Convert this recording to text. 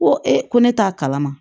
Ko ko ne t'a kalama